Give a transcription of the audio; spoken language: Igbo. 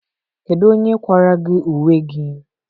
Kedu onye kwara gị uwe gị a?